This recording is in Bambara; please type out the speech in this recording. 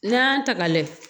N'an y'an ta ka lajɛ